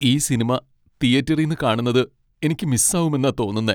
ഈ സിനിമ തിയേറ്ററിന്ന് കാണുന്നത് എനിക്ക് മിസ്സാവുമെന്നാ തോന്നുന്നേ.